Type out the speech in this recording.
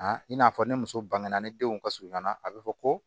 i n'a fɔ ni muso bangena ni denw ka surun ɲɔgɔnna a bɛ fɔ ko